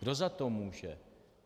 Kdo za to může?